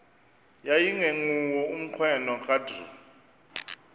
yayingenguwo umnqweno kadr